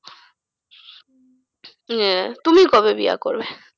উম আহ তুমি কবে বিয়া করবে?